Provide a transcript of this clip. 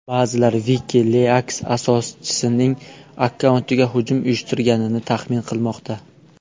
Ba’zilar WikiLeaks asoschisining akkauntiga hujum uyushtirilganini taxmin qilmoqda.